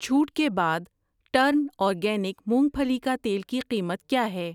چھوٹ کے بعد ٹرن اورگینک مونگ پھلی کا تیل کی قیمت کیا ہے؟